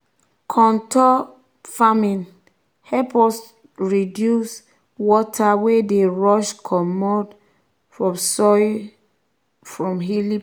contour farming help us us reduce water wey dey rush comot um soil from hilly place. um